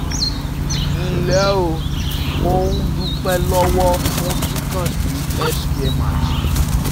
Nle o,mo um dupẹ lọwọ fun ki kan si healthcare magic